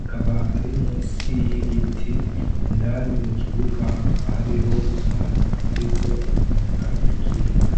,akaba Ari munsi yigiti indani mukibuga hariho umwana ariko anyonga ikinga.